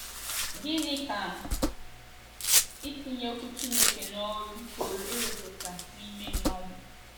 Gịnị ka itinye Okwu Chineke n’ọrụ pụrụ ịrụpụta n’ime mmadụ?